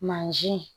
Mansin